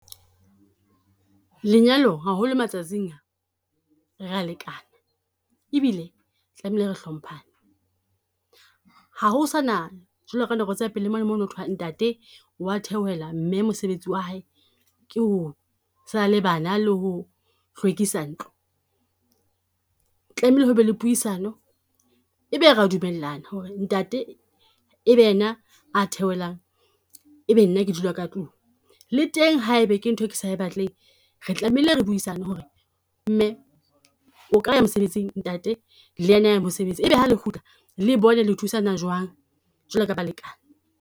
Lenyalo haholo matsatsing a re a lekana, ebile tlamehile re hlomphane. Ha ho sana jwalo ka nako tsa pele mo na mo no thwe ntate wa theohela, mme mosebetsi wa hae ke ho sala le bana le ho hlwekisa ntlo. Tlamehile ho be le puisano, e be re a dumellana ho re ntate ebe ena a theohelang ebe nna ke dula ka tlung. Le teng ha ebe ke nthwe ke sa e batleng re tlamehile re buisane ho re, mme o ka ya mosebetsing, ntate le ena a ya mosebetsi. E be ha le kgutla le bone le thusana jwang jwalo ka ba lekane.